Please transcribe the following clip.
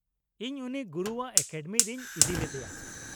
ᱤᱧ ᱩᱱᱤ ᱜᱩᱨᱩᱣᱟᱜ ᱮᱠᱟᱰᱮᱢᱤ ᱨᱤᱧ ᱤᱫᱤ ᱞᱮᱫᱮᱭᱟ ᱾